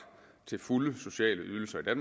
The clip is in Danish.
til fulde sociale ydelser i